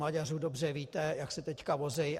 Maďaři, dobře víte, jak se teď vozí.